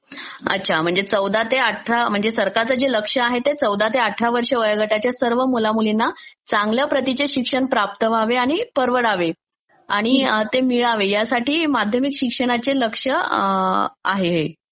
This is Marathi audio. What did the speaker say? अच्छा म्हणजे चौदा ते अठरा, सरकारचं जे लक्ष आहे ते चौदा ते अठरा वर्ष वयोगटाच्या सर्व मुलामुलींना चांगल्या प्रतिचे शिक्षण प्राप्त व्हावे आणि परवडावे आणि ते मिळावे यासाठी माध्यमिक शिक्षणाचे लक्ष आहे हे.